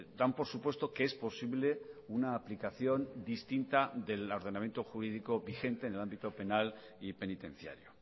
dan por supuesto que es posible una aplicación distinta del ordenamiento jurídico vigente en el ámbito penal y penitenciario